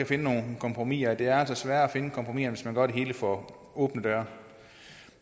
finde nogle kompromiser det er altså sværere at finde kompromiser hvis man gør det hele for åbne døre